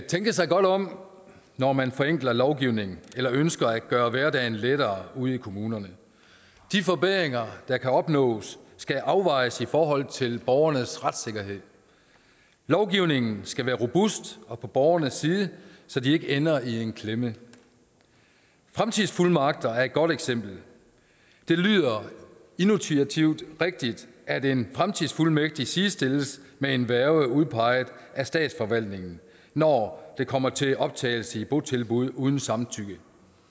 tænke sig godt om når man forenkler lovgivningen eller ønsker at gøre hverdagen lettere ude i kommunerne de forbedringer der kan opnås skal afvejes i forhold til borgernes retssikkerhed lovgivningen skal være robust og på borgernes side så de ikke ender i en klemme fremtidsfuldmagter er et godt eksempel det lyder intuitivt rigtigt at en fremtidsfuldmægtig sidestilles med en værge udpeget af statsforvaltningen når det kommer til optagelse i et botilbud uden samtykke